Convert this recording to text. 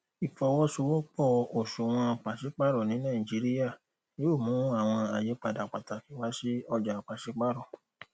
ìfọwọṣowọpọ òṣùwòn pàsípàrọ ní nàìjíríà yóò mú àwọn àyípadà pàtàkì wá sí ọjà pàsípàrọ